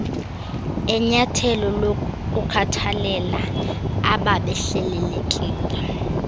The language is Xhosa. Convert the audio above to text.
enyathelo lokukhathalela abebehlelelekile